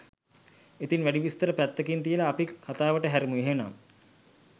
ඉතින් වැඩි විස්තර පැත්තකින් තියලා අපි කතාවට හැරෙමු එහෙනම්.